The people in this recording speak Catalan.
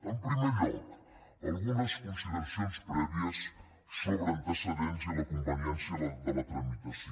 en primer lloc algunes consideracions prèvies sobre antecedents i la conveniència de la tramitació